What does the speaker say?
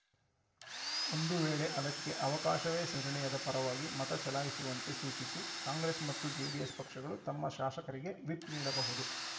ಒಂದು ವೇಳೆ ಅದಕ್ಕೆ ಅವಕಾಶವೇ ಸಿರಣೆ ಯದ ಪರವಾಗಿ ಮತ ಚಲಾಯಿಸುವಂತೆ ಸೂಚಿಸಿ ಕಾಂಗ್ರೆಸ್‌ ಮತ್ತು ಜೆಡಿಎಸ್‌ ಪಕ್ಷಗಳು ತಮ್ಮ ಶಾಸಕರಿಗೆ ವಿಪ್‌ ನೀಡಬಹುದು